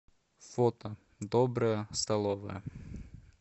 фото добрая столовая